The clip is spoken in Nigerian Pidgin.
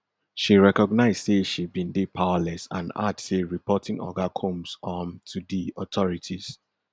she recognize say she bin dey powerless and add say reporting oga combs um to di authorities